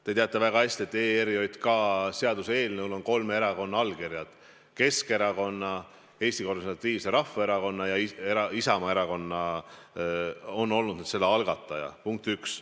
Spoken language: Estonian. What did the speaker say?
Te teate väga hästi, et sellel seaduseelnõul on kolme erakonna allkirjad – Keskerakonna, Eesti Konservatiivse Rahvaerakonna ja Isamaa Erakonna omad, kes on olnud selle algatajad, punkt üks.